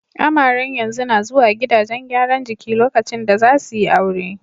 Amaren yanzu na zuwa gidajen gyaran jiki lokacin da za su yi aure.